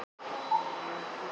Hér ég geri hlé á leir